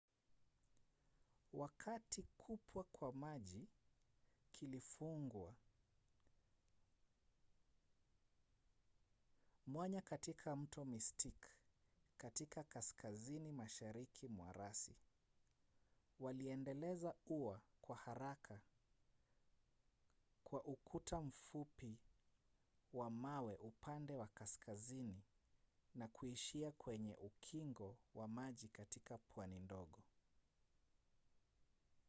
wakati kupwa kwa maji kulifungua mwanya katika mto mystic katika kaskazini mashariki mwa rasi waliendeleza ua kwa haraka kwa ukuta mfupi wa mawe upande wa kaskazini na kuishia kwenye ukingo wa maji katika pwani ndogo